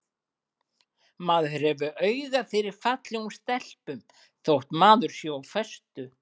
Maður hefur auga fyrir fallegum stelpum þótt maður sé á föstu.